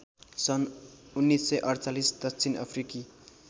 सन् १९४८ दक्षिण अफ्रिकी